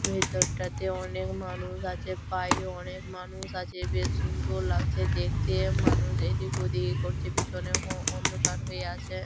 ভেতরটাতে অনেক মানুষ আছে বাইরে অনেক মানুষ আছে। বেশ সুন্দর লাগছে দেখতে মানুষ এদিক ওদিক করছে পিছনে হওঁ অন্ধকার হয়ে আছে।